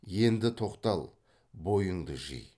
енді тоқтал бойыңды жи